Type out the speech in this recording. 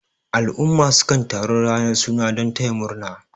al'umma sukan taru ranar suna don taya murna